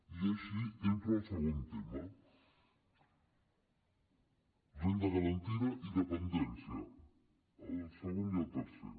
i així entro al segon tema renda garantida i dependència el segon i el tercer